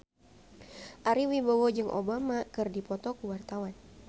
Ari Wibowo jeung Obama keur dipoto ku wartawan